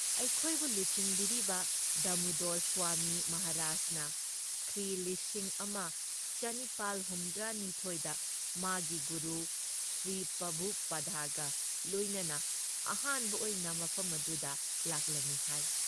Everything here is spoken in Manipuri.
ꯑꯩꯈꯣꯏꯕꯨ ꯂꯨꯆꯤꯡꯕꯤꯔꯤꯕ ꯗꯥꯃꯨꯗꯣꯔ ꯁ꯭ꯋꯥꯃꯤ ꯃꯍꯥꯔꯥꯖꯅ ꯈ꯭ꯔꯤ ꯂꯤꯁꯤꯡ ꯑꯃ ꯆꯅꯤꯄꯥꯜ ꯍꯨꯝꯗ꯭ꯔꯥ ꯅꯤꯊꯣꯏꯗ ꯃꯥꯒꯤ ꯒꯨꯔꯨ ꯁ꯭ꯔꯤꯄ꯭ꯔꯚꯨꯄꯥꯗꯒ ꯂꯣꯏꯅꯅ ꯑꯍꯥꯟꯕ ꯑꯣꯏꯅ ꯃꯐꯝ ꯑꯗꯨꯗ ꯂꯥꯛꯂꯝꯃꯤ ꯍꯥꯏ ꯫